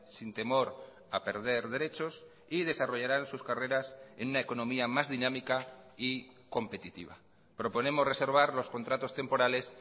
sin temor a perder derechos y desarrollaran sus carreras en una economía más dinámica y competitiva proponemos reservar los contratos temporales